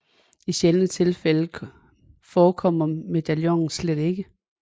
I sjældne tilfælde forekommer medaljonen slet ikke